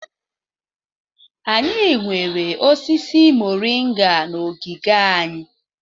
Anyị nwere osisi mọrịnga na ogige anyị.